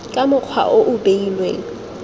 ka mokgwa o o beilweng